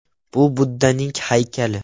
Bu Buddaning haykali.